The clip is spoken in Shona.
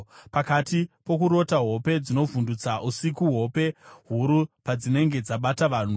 Pakati pokurota hope dzinovhundutsa usiku, hope huru padzinenge dzabata vanhu,